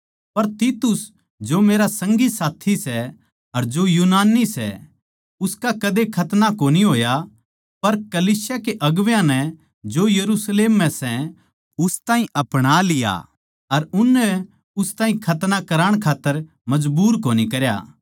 पर तीतुस जो मेरा संगी साथी सै अर जो यूनानी सै उसका कदे खतना कोनी होया पर कलीसिया के अगुवां नै जो यरुशलेम म्ह सै उस ताहीं अपणालिया अर उननै उस ताहीं खतना कराण खात्तर मजबूर कोनी करया